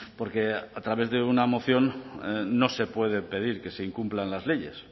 porque a través de una moción no se puede pedir que se incumplan las leyes